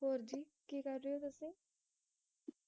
ਹੋਰ ਜੀ ਕਿ ਕਰ ਰਹੇ ਹੋ ਤੁਸੀ